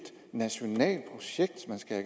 nationalt projekt man skal